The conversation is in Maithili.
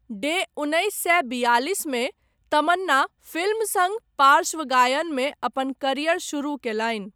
डे उन्नैस सए बियालिस मे तमन्ना फिल्म सङ्ग पार्श्व गायनमे अपन करियर शुरू कयलनि।